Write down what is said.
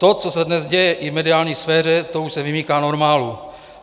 To, co se dnes děje i v mediální sféře, to už se vymyká normálu.